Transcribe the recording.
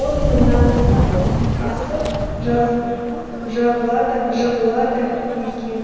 он мыңнан асып жығылады екен